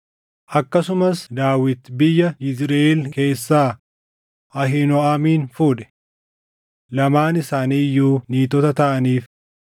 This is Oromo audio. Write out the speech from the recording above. Akkasumas Daawit biyya Yizriʼeel keessaa Ahiinooʼamin fuudhe; lamaan isaanii iyyuu niitota taʼaniif.